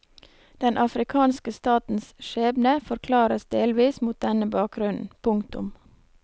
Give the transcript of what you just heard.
Den afrikanske statens skjebne forklares delvis mot denne bakgrunnen. punktum